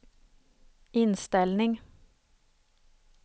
inställning